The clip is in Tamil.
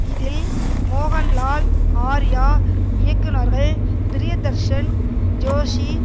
இதில் மோகன்லால் ஆர்யா இயக்குனர்கள் ப்ரிய தர்ஷன் ஜோஷி